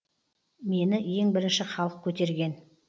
мені ең бірінші халық көтерген